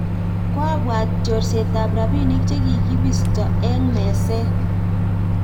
koabwat chorseta robinik che kikibisto wng meset